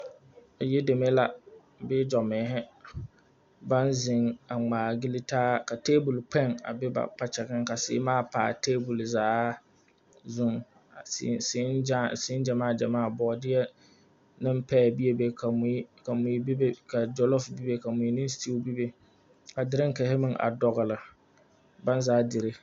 Yideme la bee gyɔmeehi baŋ zeŋ a ŋmaa gili taa ka teebol kpeŋ a biŋ ba kpakyagaŋ ka seemaa pa a teebol zaa zuŋ a seŋ seŋ gyamaa gyamaa bɔɔdeɛ ne paɛ bee be ka mui ka mui be be ka gyolofo bebe ka mui ne seteeu bebe ka dirikihi meŋ a dogle baŋ zaa dire.